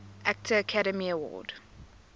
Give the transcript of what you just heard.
actor academy award